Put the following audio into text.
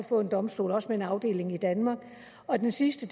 få en domstol også med en afdeling i danmark og den sidste